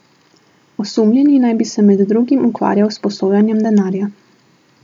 Osumljeni naj bi se med drugim ukvarjal s posojanjem denarja.